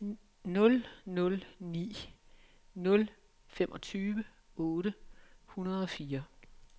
otte nul ni nul femogtyve otte hundrede og fire